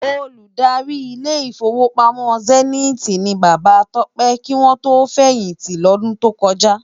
Ôlúdári Ilé Ifówópámò Sèniti ni Baba Tope kiwòn tó fèyinti lòdùn tókòjá